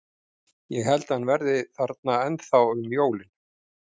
Ég held að hann verði ennþá þarna um jólin.